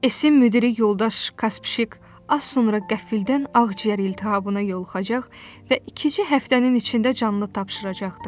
Esin müdiri yoldaş Kaspişik az sonra qəfildən ağciyər iltihabına yoluxacaq və iki-üç həftənin içində canını tapşıracaqdı.